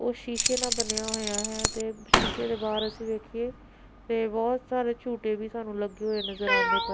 ਉਹ ਸ਼ੀਸ਼ੇ ਨਾਲ ਬਣਿਆ ਹੋਇਆ ਹੈ ਤੇ ਸ਼ੀਸ਼ੇ ਦੇ ਬਾਹਰ ਅਸੀਂ ਵੇਖੀਏ ਤੇ ਬਹੁਤ ਸਾਰੇ ਝੂਟੇ ਵੀ ਸਾਨੂੰ ਲੱਗੇ ਹੋਏ ਨਜ਼ਰ ਆਉਂਦੇ ਪਏ --